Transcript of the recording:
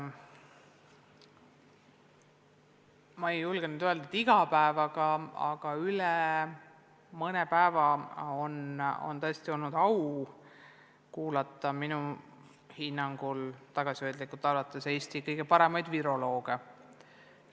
Ma ei julge öelda, et iga päev, aga üle mõne päeva on tõesti olnud au kuulata minu tagasihoidlikul hinnangul Eesti kõige paremaid virolooge.